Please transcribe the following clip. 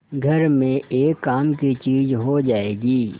घर में एक काम की चीज हो जाएगी